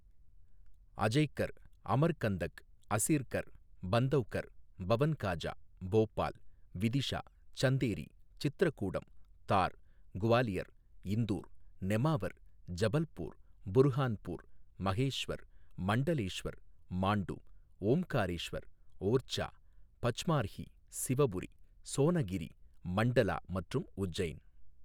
அஜய்கர், அமர்கந்தக், அஸிர்கர், பந்தவ்கர், பவன்காஜா, போபால், விதிஷா, சந்தேரி, சித்ரக்கூடம், தார், குவாலியர், இந்தூர், நெமாவர், ஜபல்பூர், புர்ஹான்பூர், மகேஷ்வர், மண்டலேஸ்வர், மாண்டு, ஓம்காரேஸ்வர், ஓர்ச்சா, பச்மார்ஹி, சிவபுரி, சோனகிரி, மண்டலா மற்றும் உஜ்ஜைன்.